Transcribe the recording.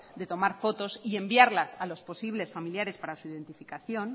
de tomar fotos y enviarlas a los posibles familiares para su identificación